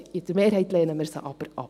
In der Mehrheit lehnen wir sie aber ab.